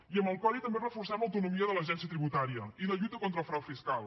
i amb el codi també reforcem l’autonomia de l’agència tributària i la lluita contra el frau fiscal